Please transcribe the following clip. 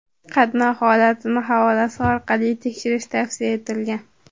Qatnov holatini havolasi orqali tekshirish tavsiya etilgan.